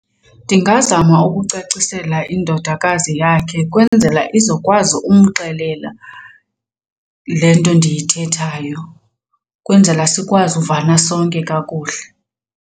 Ndingazama ukucacisela indodakazi yakhe kwenzela izokwazi umxelela le nto ndiyithethayo kwenzela sikwazi uvana sonke kakuhle.